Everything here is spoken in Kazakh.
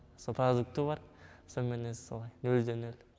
со продукты бар сонымен өзі солай нөлде нөл